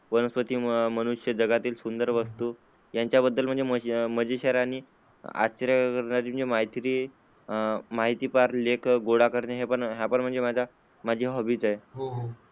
वनस्पती, मनुष्यजगातील सुंदर वस्तू यांच्याबद्दल मजेशीर आणि आश्चर्य करणारी माहितीपार लेख गोळा करणे हा पण माझा, माझी हॉबी आहे.